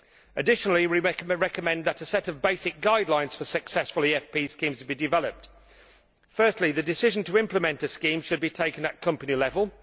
In addition, we recommend that a set of basic guidelines for successful EFP schemes be developed. Firstly, the decision to implement a scheme should be taken at company level.